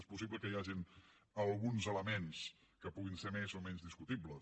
és possible que hi hagin alguns elements que puguin ser més o menys discutibles